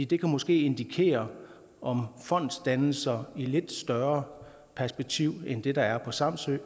det kan måske indikere om fondsdannelser i lidt større perspektiv end det der er på samsø